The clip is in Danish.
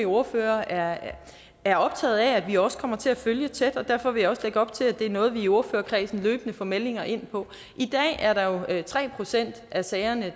ordførerne er er optaget af at vi også kommer til at følge tæt og derfor vil jeg også lægge op til at det er noget vi i ordførerkredsen løbende får meldinger ind på i dag er der tre procent af sagerne